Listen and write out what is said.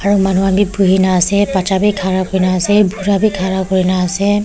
aro manu kanbe bui kina baccha beh kara kurina ase bura beh kara kurina ase.